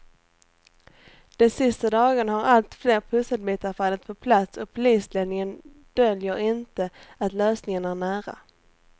De sista dagarna har allt fler pusselbitar fallit på plats och polisledningen döljer inte att lösningen är nära.